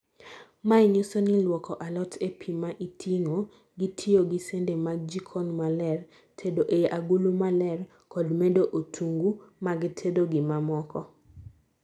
Mae nyiso ni luoko alot ee pii ma iting'o , gitiyo gi sende mag jikon maler, tedo ei agulu maler kod medo otungu magtedo gimamoko